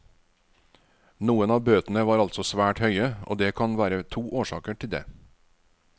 Noen av bøtene var altså svært høye og det kan være to årsaker til det.